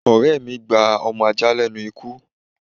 Ọ̀rẹ́ mí gba ọmọ ajá lénu ikú